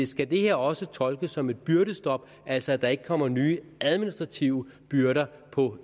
skal det her også tolkes som et byrdestop altså at der ikke kommer nye administrative byrder på